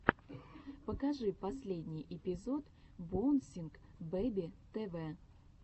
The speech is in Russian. покажи последний эпизод боунсинг бэби тэ вэ